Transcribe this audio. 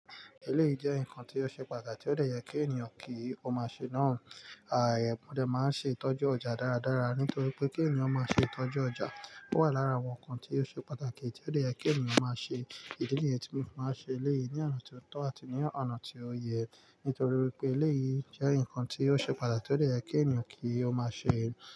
Èlé yìí jẹ́ ǹkan tí ó ṣe pàtàkì tí ó de yẹ kí ènìyàn kí ó má ṣe náà. Mọ̀ dé máa ń ṣe ìtọ́jú ọjà dáradára nítorí pé kí ènìyàn máa ṣe ìtọ́jú ọjà wà lára àwọn ǹkan tí ó ṣe pàtàkì tí ó le dẹ kí ènìyàn máa ṣe. Ìdí nìyẹn tí mo máa n ṣe èlé yìí ní ọ̀nà tó tọ́ àti ní ọ̀nà tí ó yẹ nítorí pé èléyìí jẹ́ ǹkan tí ó ṣe pàtàkì tí ó de yẹ kí ènìyàn kí ó má ṣe.